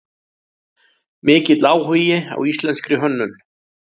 Mikill áhugi á íslenskri hönnun